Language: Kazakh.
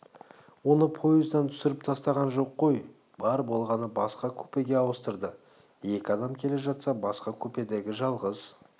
оны поездан түсіріп тастаған жоқ қой бар болғаны басқа купеге ауыстырды екі адам келе жатса басқа купедегі жалғыз